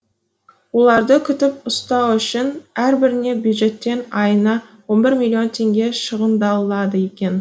оларды күтіп ұстау үшін әрбіріне бюджеттен айына он бір миллион теңге шығындалады екен